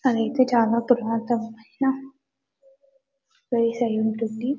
అదైతే చాలా ప్రశాంతవంతమైన ప్లేస్ అయ్యుంటుంది